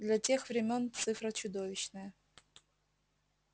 для тех времён цифра чудовищная